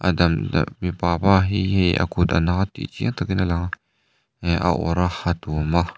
a dalh dalh mipa pa hi hei a kut a na tih chiang takin a lang eh a awrh a a tuam a.